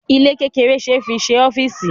Ilé kékeré ṣe é fi ṣe ọ́fíísì.